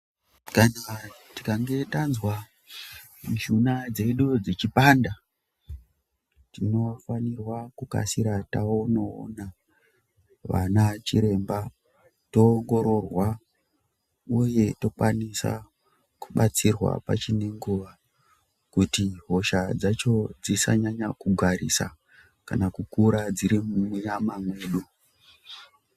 Kana tikange tanzwa mishuna dzedu ichipanda tinofana kukasira tonoona vana chiremba toongororwa uya tokwanisa kubatsirwa pachine nguva kuti hosha dzacho dzisanyanya kugarisa kana kukura dzirimunyama medu .